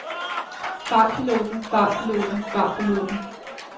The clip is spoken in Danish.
fartpiloten fartpiloten fartpiloten